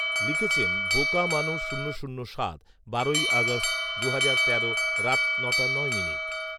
লিখেছেন বোকা মানুষ শূন্য শূন্য সাত, বারোই আগস্ট, দুহাজার তেরো রাত নটা নয় মিনিট